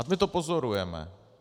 A my to pozorujeme.